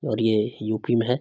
और ये यू.पी. में है।